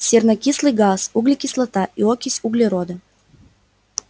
сернокислый газ углекислота и окись углерода